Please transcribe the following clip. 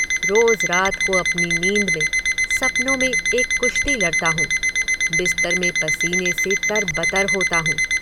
रोज रात को अपनी नींद में, सपनों में एक कुष्ती लड़ता हूँ, बिस्तर में पसीने से तरबतर होता हूँ।